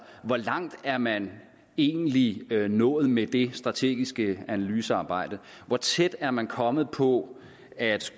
hvor langt er man egentlig nået med det strategiske analysearbejde hvor tæt er man kommet på at